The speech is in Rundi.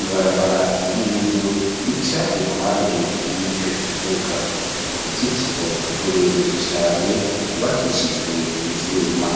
Ibarabara ry'ivu rica iruhande y'ico kibuga. Uruzitiro rurerure cane rwubakishijwe ivyuma.